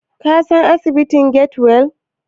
Ka san asibitin Get-well?